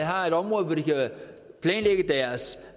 har et område hvor de kan planlægge deres